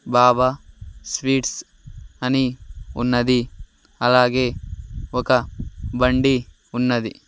బాబా sweets అని ఉన్నది అలాగే ఒక బండి ఉన్నది.